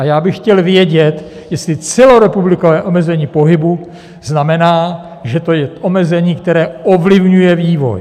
A já bych chtěl vědět, jestli celorepublikové omezení pohybu znamená, že to je omezení, které ovlivňuje vývoj.